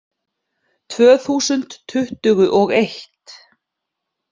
Tvö þúsund tuttugu og eitt